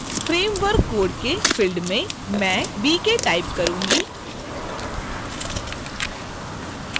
framework code के field में मैं bk type करुँगी